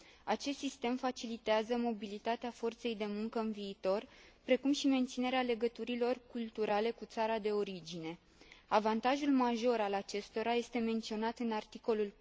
Acest sistem facilitează mobilitatea forței de muncă în viitor, precum și menținerea legăturilor culturale cu țara de origine. Avantajul major al acestora este menționat în articolul